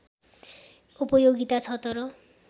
उपयोगिता छ तर